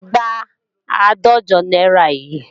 Gba àádọ́jọ náírà yìí!